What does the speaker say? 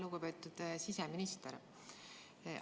Lugupeetud siseminister!